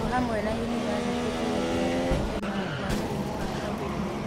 O hamwe na yunivasĩtĩ kũgiria kũtherema kwa mũrimũ wa Covid-19